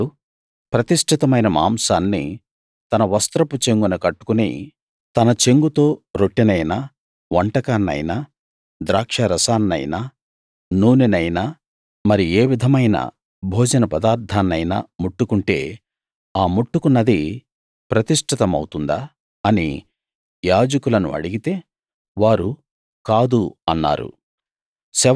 ఒకడు ప్రతిష్టితమైన మాంసాన్ని తన వస్త్రపు చెంగున కట్టుకుని తన చెంగుతో రొట్టెనైనా వంటకాన్నైనా ద్రాక్షారసాన్నైనా నూనెనైనా మరి ఏ విధమైన భోజన పదార్థాన్నైనా ముట్టుకుంటే ఆ ముట్టుకున్నది ప్రతిష్ఠితమవుతుందా అని యాజకులను అడిగితే వారు కాదు అన్నారు